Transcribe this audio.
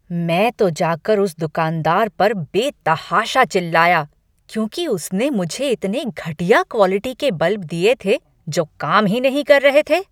मैं तो जाकर उस दुकानदार पर बेतहाशा चिल्लाया, क्योंकि उसने मुझे इतने घटिया क्वालिटी के बल्ब दिए थे जो काम ही नहीं कर रहे थे।